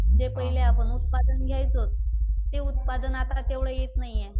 जे पहिले आपण उत्पादन घ्यायचो ते उत्पादन आता तेवढं येत नाहीये.